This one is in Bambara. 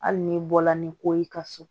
Hali n'i bɔla ni ko y'i ka so